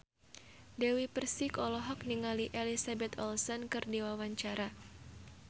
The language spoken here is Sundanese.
Dewi Persik olohok ningali Elizabeth Olsen keur diwawancara